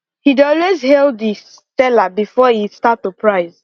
he dey always hail the seller before e start to price